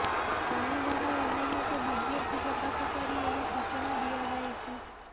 ଶନିବାର ଏନେଇ ଏକ ବିଜ୍ଞପ୍ତି ପ୍ରକାଶ କରି ଏହି ସୂଚନା ଦିଆଯାଇଛି